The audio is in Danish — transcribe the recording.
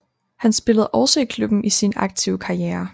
Han spillede også i klubben i sin aktive karriere